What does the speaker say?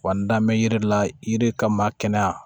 Wa n da mɛ yiri la yiri kama kɛnɛya